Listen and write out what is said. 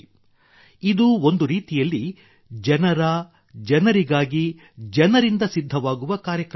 ಇದು ಒಂದು ರೀತಿಯಲ್ಲಿ ಜನರ ಜನರಿಗಾಗಿ ಜನರಿಂದ ಸಿದ್ಧವಾಗುವ ಕಾರ್ಯಕ್ರಮವಾಗಿದೆ